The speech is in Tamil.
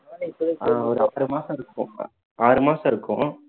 அஹ் ஒரு எட்டரை மாசம் இருக்கும் ஆறு மாசம் இருக்கும்